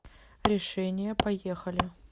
решение поехали